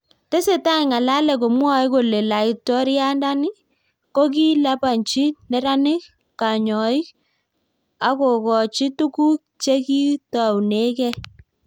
Tesetai ngalek komwae kole laitoriandani kokilipanchi neranik kanyiok akokoch tuguk chekitounekei